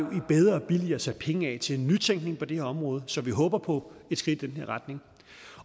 om bedre og billigere sat penge af til nytænkning på det her område så vi håber på et skridt i den her retning